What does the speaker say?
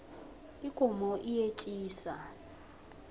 ikomo iyetjisa